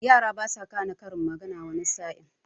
Yara basa gane karin magana wani sa'in.